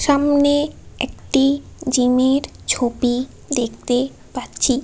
সামনে একটি জিম -এর ছবি দেখতে পাচ্ছি।